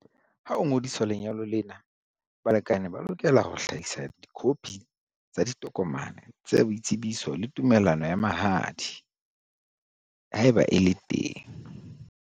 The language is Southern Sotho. Ha ho ngodiswa lenyalo lena, balekane ba lokela ho hlahisa dikhophi tsa ditokomane tsa boitsebiso le tumellano ya mahadi, haeba e le teng.